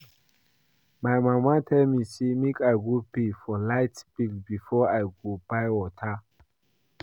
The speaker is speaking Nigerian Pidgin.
My mama tell me say make I go pay for the light bill before I go buy water